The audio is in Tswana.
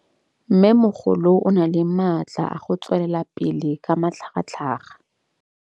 Mmêmogolo o na le matla a go tswelela pele ka matlhagatlhaga.